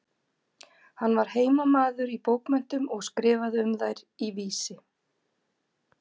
Hann var heimamaður í bókmenntum og skrifaði um þær í Vísi.